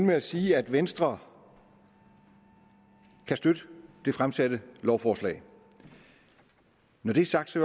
med at sige at venstre kan støtte det fremsatte lovforslag når det er sagt